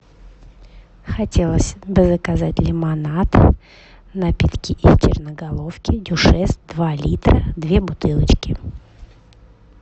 хотелось бы заказать лимонад напитки из черноголовки дюшес два литра две бутылочки